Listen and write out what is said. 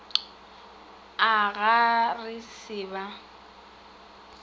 a ga re sa ba